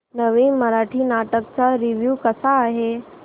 नवीन मराठी नाटक चा रिव्यू कसा आहे